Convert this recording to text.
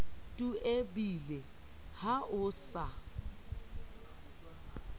tu ebile ha ho sa